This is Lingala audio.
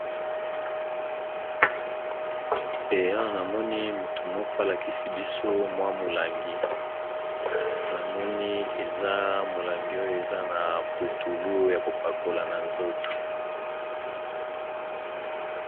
ea namoni motu moko alakisi biso mwa molangi namoni eza molangi oyo eza na putulu ya kopakola na nzoto